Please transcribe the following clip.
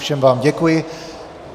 Všem vám děkuji.